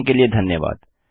देखने के लिए धन्यवाद